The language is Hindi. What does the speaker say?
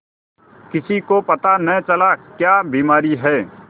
किसी को पता न चला क्या बीमारी है